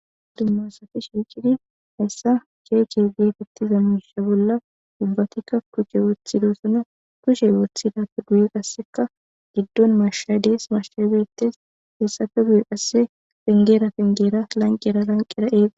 Cima asat shiqid ubbatika shiqid Cece getetiza misha boal ubbatika kushe wothidosona, kushe wothidappe guye qaseka gidon mashay Des. Lanqera lanqera